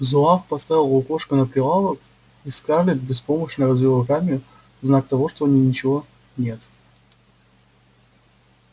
зуав поставил лукошко на прилавок и скарлетт беспомощно развела руками в знак того что у неё ничего нет